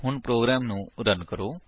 ਹੁਣ ਪ੍ਰੋਗਰਾਮ ਨੂੰ ਰਨ ਕਰੋ